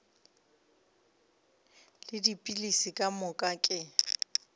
le dipilisi ka moo ke